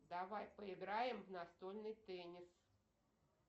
давай поиграем в настольный теннис